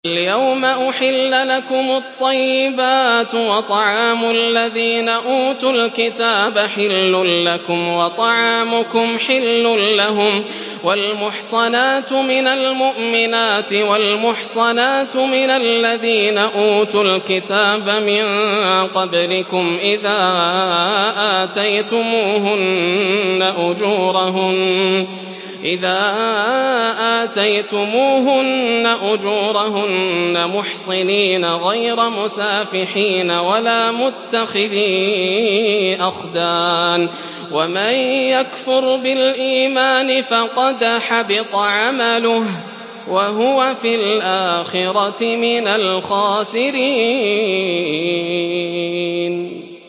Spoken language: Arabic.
الْيَوْمَ أُحِلَّ لَكُمُ الطَّيِّبَاتُ ۖ وَطَعَامُ الَّذِينَ أُوتُوا الْكِتَابَ حِلٌّ لَّكُمْ وَطَعَامُكُمْ حِلٌّ لَّهُمْ ۖ وَالْمُحْصَنَاتُ مِنَ الْمُؤْمِنَاتِ وَالْمُحْصَنَاتُ مِنَ الَّذِينَ أُوتُوا الْكِتَابَ مِن قَبْلِكُمْ إِذَا آتَيْتُمُوهُنَّ أُجُورَهُنَّ مُحْصِنِينَ غَيْرَ مُسَافِحِينَ وَلَا مُتَّخِذِي أَخْدَانٍ ۗ وَمَن يَكْفُرْ بِالْإِيمَانِ فَقَدْ حَبِطَ عَمَلُهُ وَهُوَ فِي الْآخِرَةِ مِنَ الْخَاسِرِينَ